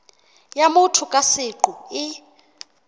ya motho ka seqo e